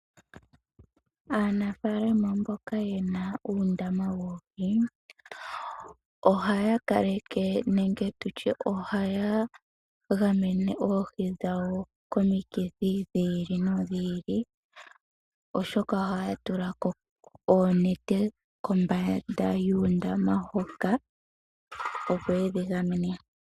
Aanafalama mboka yena uundama woohi, ohaya gamene oohi dhawo komikithi dha yoolokothana oshoka ohaya tulako oonete kombanda yuundama hoka, opo yedhi gamene.